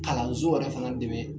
Kalanso yɛrɛ fana dɛmɛ